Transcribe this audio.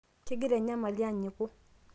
kegira enyamali anyiku